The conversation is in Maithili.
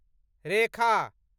रेखा